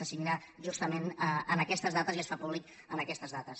se signa justament en aquestes dates i es fa públic en aquestes dates